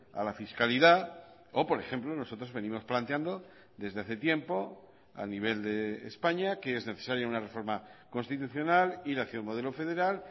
a la fiscalidad o por ejemplo nosotros venimos planteando desde hace tiempo a nivel de españa que es necesaria una reforma constitucional ir hacia un modelo federal